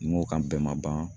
N ko kan bɛɛ ma ban